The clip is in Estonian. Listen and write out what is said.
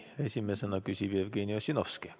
Esimesena küsib Jevgeni Ossinovski.